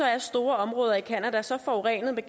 er store områder i canada så forurenede med